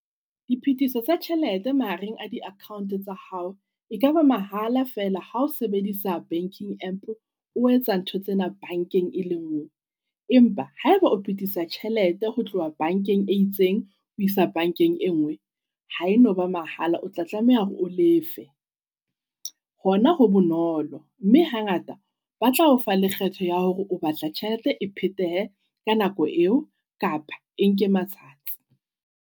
Diphetiso tsa tjhelete mahareng a di-account tsa hao. E ka ba mahala feela ha o sebedisa banking app o etsa ntho tsena bankeng e le ngwe. Empa ha eba o phetisa tjhelete ho tloha bank-eng e itseng ho isa bankeng e ngwe ha e noba mahala. Otla tlameha hore o lefe. Hona ho bonolo, mme hangata batla ofa lekgetho ya hore o batla tjhelete e phetehe ka nako eo kapa e nke matsatsi.